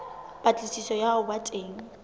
patlisiso ya ho ba teng